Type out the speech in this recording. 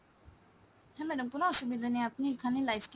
হ্যাঁ madam কোনো অসুবিধা নেই আপনি এখানে lifecare এ